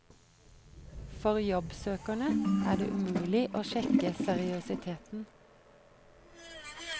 For jobbsøkerne er det umulig å sjekke seriøsiteten.